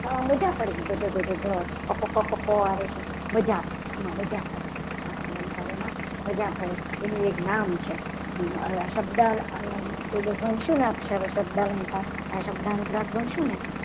તો આ બધા પણ ધ ધ ધ ધ પ પ પ આવે છે. મજા પડે આમાં મજા પડે આ અલંકારોમાં મજા પડે એનું એક નામ છે. શબ્દ અલંકાર પહેલો ભાઈ શું નામ શબ્દ અલંકાર આ શબ્દ અનુપ્રસ્થ ભણશું ને